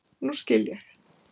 Núna skil ég.